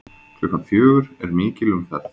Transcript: Klukkan fjögur er mikil umferð.